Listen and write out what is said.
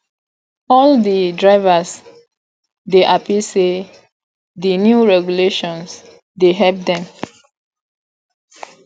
all di drivers dey hapi sey di new regulations dey help dem